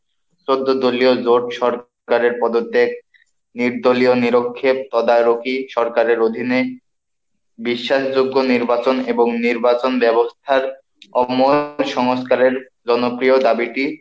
চোদ্দ দলীয় জোট সরকারের পদত্যাগ, নির্দলীয় নিরক্ষেপ তদারকি সরকারের অধীনে বিশ্বাসযোগ্য নির্বাচন এবং নির্বাচন ব্যবস্থার সংস্কারের জনপ্রিয় দাবিটি,